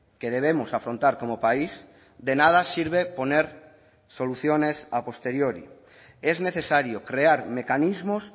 que debemos afrontar como país de nada sirve poner soluciones a posteriori es necesario crear mecanismos